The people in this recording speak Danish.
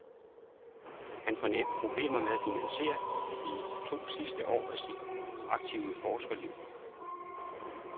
Han får næppe problemer med at finansiere de to sidste år af sit aktive forskerliv.